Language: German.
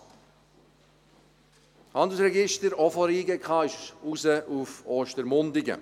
Das Handelsregisteramt, auch von der JGK, ging raus nach Ostermundigen.